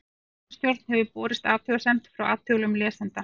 Ritstjórn hefur borist athugasemd frá athugulum lesanda.